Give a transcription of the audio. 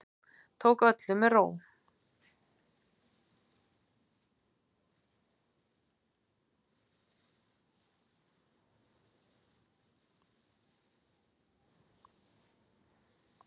Tók öllu með ró